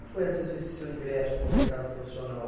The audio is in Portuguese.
Foi essa, esse seu ingresso no mercado profissional?